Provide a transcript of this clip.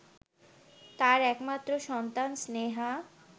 তার একমাত্র সন্তান স্নেহা